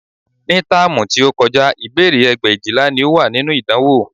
Ní táàmù tí ó kọjá, ìbéèrè ẹgbẹ̀éjìlá ni ó wà nínú ìdánwò